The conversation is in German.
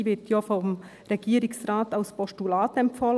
Diese wird ja vom Regierungsrat als Postulat empfohlen.